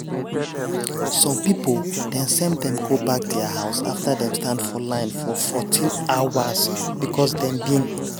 some pipo dem send dem go back dia house afta dem stand for line for 14 hours becos dem bin